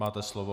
Máte slovo.